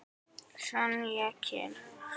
Sonja kemur.